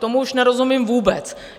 Tomu už nerozumím vůbec.